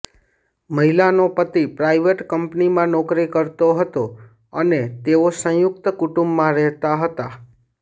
મહિલાનો પતિ પ્રાઇવેટ કંપનીમાં નોકરી કરતો હતો અને તેઓ સંયુક્ત કુટુંબમાં રહેતા હતા